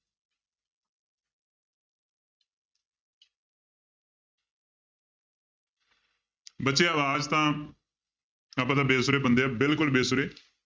ਬੱਚੇ ਆਵਾਜ਼ ਤਾਂ ਆਪਾਂ ਤਾਂ ਬੇਸੁਰੇ ਬੰਦੇ ਹਾਂ ਬਿਲਕੁਲ ਬੇਸੁਰੇ।